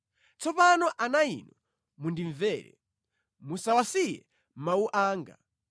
Tsopano ana inu, mundimvere; musawasiye mawu anga.